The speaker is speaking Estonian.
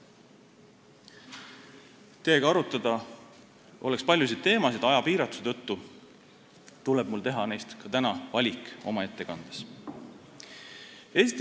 Teiega arutada oleks paljusid teemasid, kuid aja piiratuse tõttu tuleb mul ka täna oma ettekandes teha neist valik.